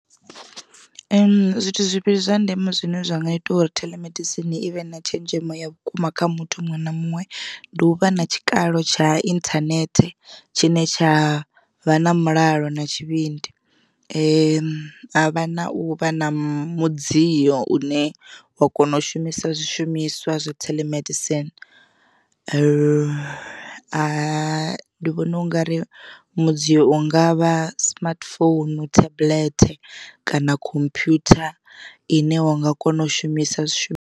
Zwithu zwivhili zwa ndeme zwine zwanga ita uri theḽemedisini i vhe na tshenzhemo ya vhukuma kha muthu muṅwe na muṅwe ndi u vha na tshikalo tsha inthanethe tshine tsha vha na mulalo na tshivhindi. Ha vha na u vha na mudzio une wa kona u shumisa zwishumiswa zwa telemedicine ndi vhona ungari mudziyo u ngavha smartphone, tablet kana khomphyutha ine wa nga kona u shumisa zwishu.